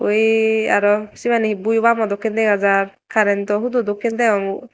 eee aro siyan he buyobamo dokken dega jar currento hudo dokken degongor.